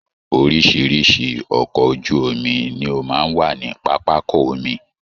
oríṣìíríṣìí ọkọ̀ ojú omi ni ó máa ń wà ní pápákọ omi